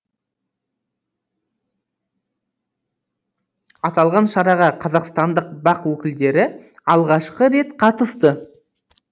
аталған шараға қазақстандық бақ өкілдері алғашқы рет қатысты